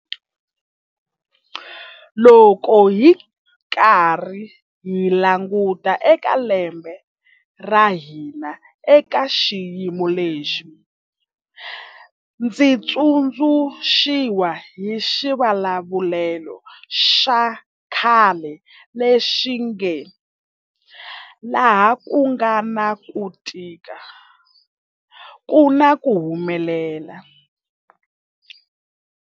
Loko hi karhi hi languta eka lembe ra hina eka xiyimo lexi, ndzi tsundzu xiwa hi xivulavulelo xa khale lexi nge, laha ku nga na ku tika ku na ku humelela.